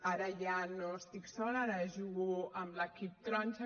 ara ja no estic sola ara jugo amb l’equip taronja